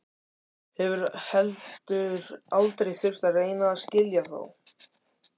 Hefur heldur aldrei þurft að reyna að skilja þá.